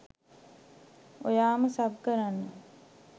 ඔයාම sub කරන්න